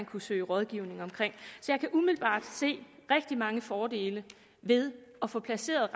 kunne søge rådgivning om så jeg kan umiddelbart se rigtig mange fordele ved at få placeret